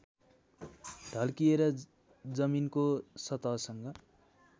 ढल्किएर जमिनको सतहसँग